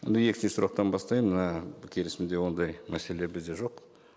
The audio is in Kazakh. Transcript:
онда екінші сұрақтан бастайын мына келісімде ондай мәселе бізде жоқ